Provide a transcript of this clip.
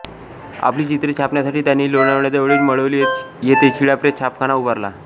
आपली चित्रे छापण्यासाठी त्यांनी लोणावळ्याजवळील मळवली येथे शिळा प्रेस छापखाना उभारला